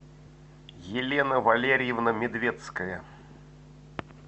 елена валерьевна медвецкая